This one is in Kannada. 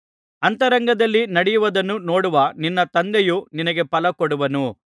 ಅಂತರಂಗದಲ್ಲಿ ನಡೆಯುವುದನ್ನು ನೋಡುವ ನಿನ್ನ ತಂದೆಯು ನಿನಗೆ ಫಲಕೊಡುವನು